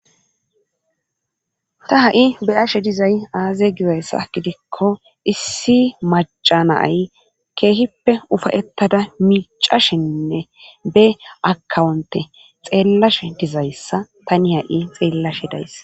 Ta ha7i be7ashe dizay aaze gizayssa gidikko issi macca na7ay keehippe ufayettada miiccashenne be akkawuntte xeelashe dizayssa tani ha7i xeellashe de7ays.